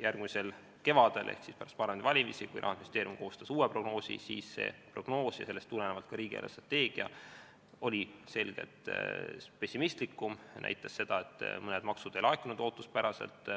järgmisel kevadel ehk pärast parlamendivalimisi, kui Rahandusministeerium koostas uue prognoosi, siis see prognoos ja sellest tulenevalt ka riigi eelarvestrateegia oli selgelt pessimistlikum ning näitas seda, et mõned maksud ei laekunud ootuspäraselt.